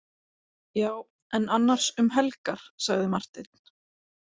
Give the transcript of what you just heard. Já, en annars um helgar, sagði Marteinn.